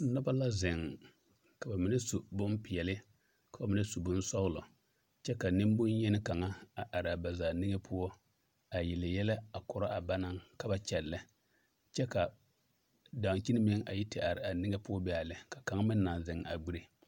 Noba la zeŋ ka ba mine su bonpeɛlle ka ba mine su bonsɔglɔ kyɛ ka nembonyeni kaŋa a are a ba zaa nige poɔ a yelle yɛlɛ a korɔ a ba naŋ ka ba kyɛllɛ kyɛ ka dankyini meŋ a yi te are a nige be a lɛ ka kaŋ meŋ naŋ zeŋ a gbire.